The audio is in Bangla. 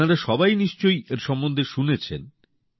আপনারা সবাই নিশ্চয়ই এর সম্বন্ধে শুনেছেন